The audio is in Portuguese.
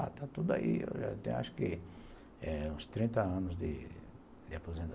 Ah, está tudo aí, eu já tenho acho que uns trinta anos de aposen